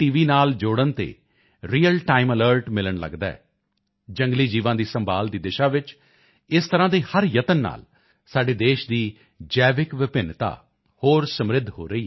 ਨਾਲ ਜੋੜਨ ਤੇ ਰੀਅਲ ਟਾਈਮ ਅਲਰਟ ਮਿਲਣ ਲੱਗਦਾ ਹੈ ਜੰਗਲੀ ਜੀਵਾਂ ਦੀ ਸੰਭਾਲ ਦੀ ਦਿਸ਼ਾ ਵਿੱਚ ਇਸ ਤਰ੍ਹਾਂ ਦੇ ਹਰ ਯਤਨ ਨਾਲ ਸਾਡੇ ਦੇਸ਼ ਦੀ ਜੈਵਿਕ ਵਿਭਿੰਨਤਾ ਹੋਰ ਸਮਿ੍ਰਧ ਹੋ ਰਹੀ ਹੈ